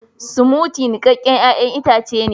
"Smoothie " niƙaken ƴayan itace ne.